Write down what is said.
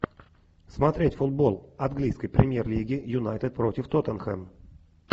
смотреть футбол английской премьер лиги юнайтед против тоттенхэм